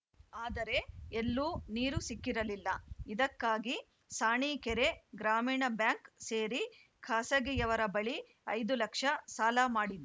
ಆದರೆ ಎಲ್ಲೂ ನೀರು ಸಿಕ್ಕಿರಲಿಲ್ಲ ಇದಕ್ಕಾಗಿ ಸಾಣೀಕೆರೆ ಗ್ರಾಮೀಣ ಬ್ಯಾಂಕ್‌ ಸೇರಿ ಖಾಸಗಿಯವರ ಬಳಿ ಐದು ಲಕ್ಷ ಸಾಲ ಮಾಡಿ